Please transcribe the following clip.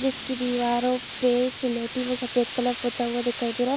जिसकी दीवारों पे स्लेटी व सफ़ेद कलर पोता हुआ दिखाई दे रहा है।